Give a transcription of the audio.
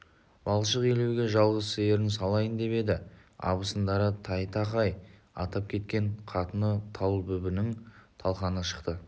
балшық илеуге жалғыз сиырын салайын деп еді абысындары тайтақай атап кеткен қатыны талбүбінің талқаны шықты